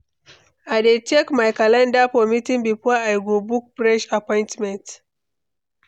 I dey check my calendar for meeting before I go book fresh appointment.